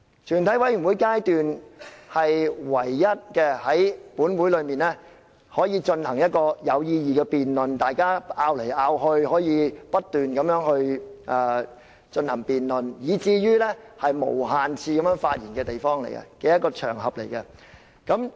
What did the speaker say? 全體委員會階段是本會唯一可以進行有意義的辯論，讓大家可以互相爭論和不斷進行辯論，以及可以無限次發言的場合。